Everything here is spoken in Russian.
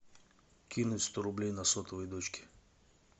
кинуть сто рублей на сотовый дочке